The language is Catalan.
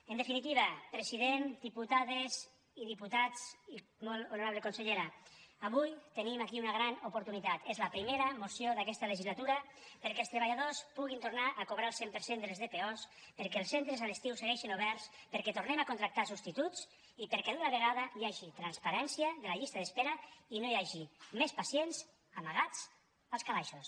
en definitiva president diputades i diputats i molt honorable consellera avui tenim aquí una gran oportunitat és la primera moció d’aquesta legislatura perquè els treballadors puguin tornar a cobrar el cent per cent de les dpo perquè els centres a l’estiu segueixin oberts perquè tornem a contractar substituts i perquè d’una vegada hi hagi transparència de la llista d’espera i no hi hagi més pacients amagats als calaixos